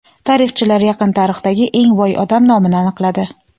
Tarixchilar yaqin tarixdagi eng boy odam nomini aniqladi.